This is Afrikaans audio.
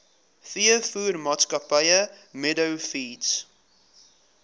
veevoermaatskappy meadow feeds